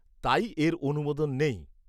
তাই এর অনুমোদন নেই।